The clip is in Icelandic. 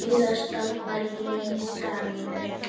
Síðasta bæinn í dalnum.